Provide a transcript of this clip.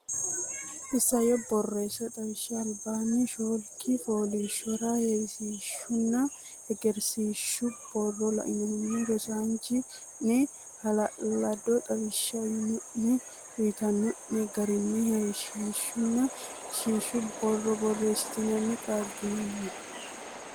Isayyo Borreessa Xawishsha albaanni shoolki fooliishshora heewisiishshunna heesagisiishshu borro lainohunni rosiisaanchi o ne hala lado xawishsha uyno ne uytino ne garinni heewisiishshunna heessagisiishshu borro borreessitinoonnita qaagginanni.